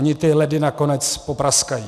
Ony ty ledy nakonec popraskají.